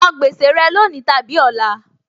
San gbèsè rẹ lónìí tàbí ọ̀la!